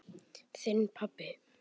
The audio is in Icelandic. Þinn pabbi.